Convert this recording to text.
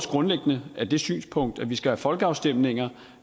grundlæggende har det synspunkt at vi skal have folkeafstemninger